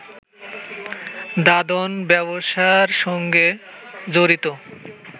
দাদন ব্যবসার সঙ্গে জড়িত